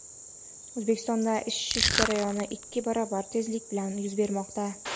O‘zbekistonda isish jarayoni ikki barobar tezlik bilan yuz bermoqda.